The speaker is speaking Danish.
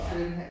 Ja